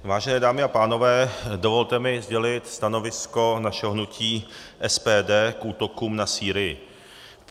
Vážené dámy a pánové, dovolte mi sdělit stanovisko našeho hnutí SPD k útokům na Sýrii.